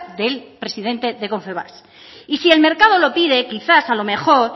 del presidente de confebask y si el mercado lo pide quizás a lo mejor